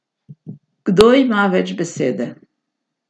Kdo ima več besede?